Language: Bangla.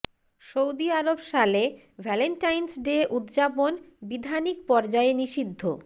সৌদি আরব সালে ভ্যালেন্টাইন্স ডে উদযাপন বিধানিক পর্যায়ে নিষিদ্ধ